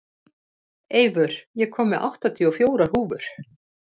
Eivör, ég kom með áttatíu og fjórar húfur!